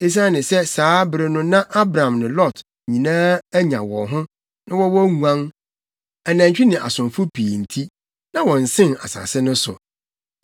Esiane sɛ saa bere no na Abram ne Lot nyinaa anya wɔn ho, na wɔwɔ nguan, anantwi ne asomfo pii nti, na wɔnsen asase no so.